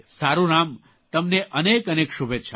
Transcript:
સારૂં રામ તમને અનેક અનેક શુભેચ્છાઓ